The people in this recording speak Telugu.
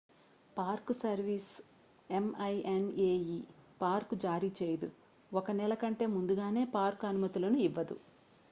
పార్క్ సర్వీస్ ఎం‌ఐ‌ఎన్‌ఏ‌ఈ పార్క్ జారీ చేయదు. 1 నెల కంటే ముందుగానే పార్క్ అనుమతులను ఇవ్వదు